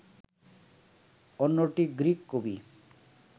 অন্যটি গ্রিক কবি